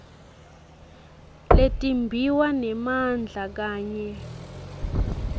letimbiwa nemandla kanye